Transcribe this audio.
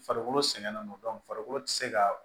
Farikolo sɛgɛnnen no farikolo ti se ka